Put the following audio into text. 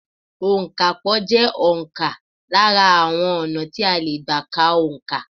Òǹkapò jẹ́ òǹkà lára àwọn ọ̀nà tí a lè gbà ká òǹkà.